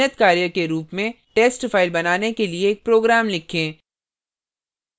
नियतकार्य के रूप में test file बनाने के लिए एक program लिखें